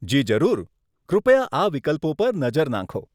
જી જરૂર, કૃપયા આ વિકલ્પો પર નજર નાંખો.